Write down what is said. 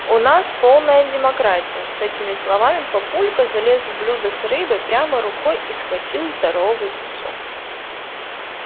у нас полная демократия с этими словами папулька залез в блюдо с рыбой прямо рукой и схватил здоровый кусок